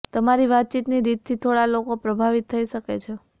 તમારી વાતચીતની રીતથી થોડાં લોકો પ્રભાવિત થઇ શકે છે